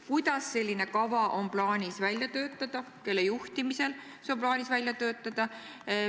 Kuidas ja kelle juhtimisel on plaanis see kava välja töötada?